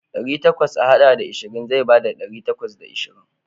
Ɗari takwas a haɗa da ashirin zai bada ɗari takwas da ashirin.